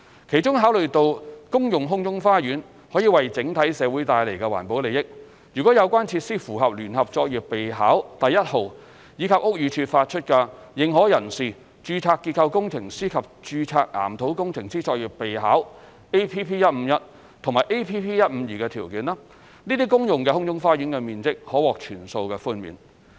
其中，考慮到公用空中花園可為整體社會帶來環保利益，如有關設施符合《聯合作業備考》第1號，以及屋宇署發出的《認可人士、註冊結構工程師及註冊岩土工程師作業備考》APP-151 及 APP-152 的條件，該些公用空中花園的面積可獲全數寬免。